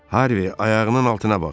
Harvi, ayağının altına bax!